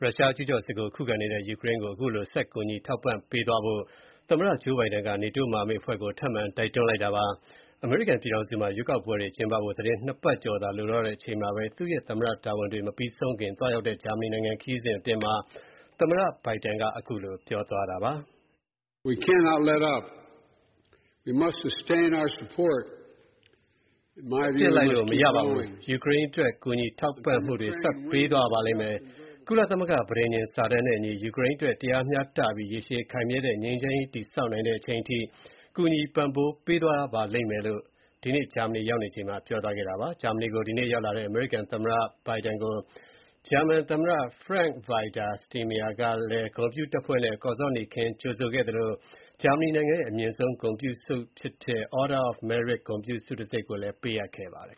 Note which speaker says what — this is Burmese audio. Speaker 1: ရုရှားကျူးကျော်စစ်ကို ခုခံနေရတဲ့ ယူကရိန်းကို ဆက်ပြီးတော့ ကူညီ ထောက်ပံ့ပေးသွားဖို့ အမေရိကန်သမ္မတ ဂျိုးဘိုင်ဒန်က NATO မဟာမိတ်အဖွဲ့ကို ထပ်မံ တိုက်တွန်း လိုက်ပါတယ်။ အမေရိကန်ပြည်ထောင်စုမှာ ရွေးကောက်ပွဲတွေ ကျင်းပဖို့ သီတင်းနှစ်ပတ်ကျော်သာ လိုတော့တဲ့အချိန်၊ သူ့ရဲ့ သမ္မတ တာဝန်တွေ မပြီးဆုံးခင် သွားရောက်တဲ့ ဂျာမနီနိုင်ငံ ခရီးစဥ်အ
Speaker 2: တွင်းမှာ သမ္မတဘိုင်ဒန်က ခုလို ပြောသွားတာပါ။ "အခုချိန်မှာ ရပ်ပစ်လိုက်လို့ မရပါဘူး
Speaker 1: ။ ယူကရိန်းအတွက် ကူညီ ထောက်ပံ့မှုတွေ ဆက်ပေးသွားရပါ လိမ့်မယ်။ ကုလသမဂ္ဂ ပဋိညာဥ်စာတမ်းနဲ့ အညီ ယူကရိန်းအတွက် တရားမျှတပြီး ရေရှည်ခိုင်မြဲတဲ့ ငြိမ်းချမ်းရေး တည်ဆောက်နိုင်တဲ့ အချိန်အထိ ကူညီ ပံ့ပိုးပေးသွားရပါလိမ့်မယ်” လို့ ဒီကနေ့ ဂျာမနီနိုင်ငံရောက်ချိန်မှာ ပြောကြားခဲ့တာပါ။ ဂျာမနီနိုင်ငံကို ဒီနေ့ရောက်လာတဲ့ အမေရိကန်သမ္မတ Joe Biden ကို ဂျာမန်သမ္မတ Frank-Walter Steinmeier က ဂုဏ်ပြုတပ်ဖွဲ့နဲ့ ကော်ဇောနီခင်း ကြိုဆိုခဲ့သလို၊ ဂျာမနီနိုင်ငံရဲ့ အမြင့်ဆုံး ဂုဏ်ပြုဆုဖြစ်တဲ့ Order of Merit ဂုဏ်ပြုဆုတံဆိပ် ပေးအပ်ခဲ့ပါတယ်